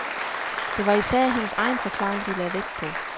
Det var især hendes egen forklaring, de lagde vægt på.